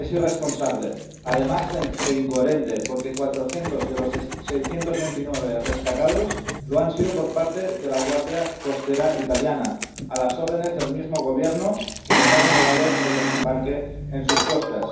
es irresponsable, además de incoherente, porque 400 de los 629 rescatados lo han sido por parte de la Guardia Costera italiana, a las órdenes del mismo Gobierno que les ha denegado el desembarque en sus costas.